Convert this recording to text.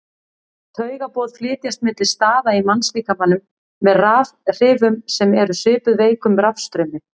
Taugaboð flytjast milli staða í mannslíkamanum með rafhrifum sem eru svipuð veikum rafstraumi.